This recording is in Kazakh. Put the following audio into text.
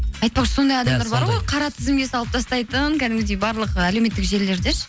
айтпақшы сондай адамдар бар ғой қара тізімге салып тастайтын кәдімгідей барлық әлеуметтік желілерде ше